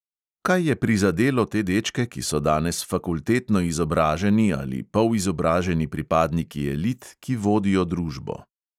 Kaj je prizadelo te dečke, ki so danes fakultetno izobraženi ali polizobraženi pripadniki elit, ki vodijo družbo.